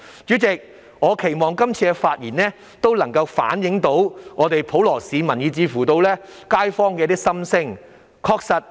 主席，我期望這次發言能夠反映普羅市民以至街坊的心聲。